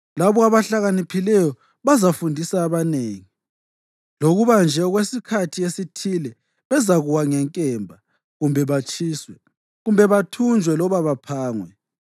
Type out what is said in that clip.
Labo abahlakaniphileyo bazafundisa abanengi, lokuba nje okwesikhathi esithile bezakuwa ngenkemba, kumbe batshiswe, kumbe bathunjwe loba baphangwe.